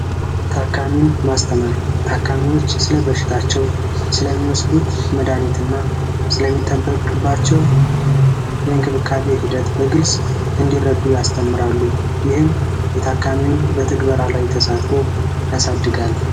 ታካሚን ማስተማር ታካሚዎች ስለ በሽታቸው ስለሚወስዱት መድሃኒትና ስለሚጠበቅባቸው ሂደት በግልጽ እንዲረዱ ያስተምራሉ የታካሚውን በተግበራ ላይ ተሳትፎ ያሳድጋል።